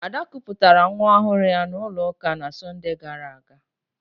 Ada kụpụtara nwa ọhụrụ ya n'ụlọ ụka n'Sọnde gara aga